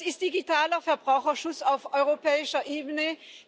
Das ist digitaler Verbraucherschutz auf europäischer Ebene.